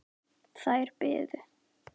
Þær biðu.